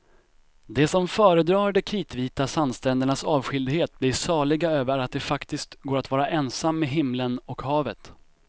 De som föredrar de kritvita sandsträndernas avskildhet blir saliga över att det faktiskt går att vara ensam med himlen och havet.